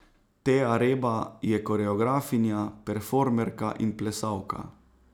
Teja Reba je koreografinja, performerka in plesalka.